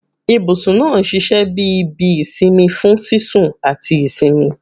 Ibusun naa n ṣiṣẹ bi ibi isinmi fun sisun ati isinmi